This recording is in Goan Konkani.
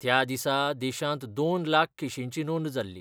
त्या दिसा देशांत दोन लाख केशींची नोंद जाल्ली.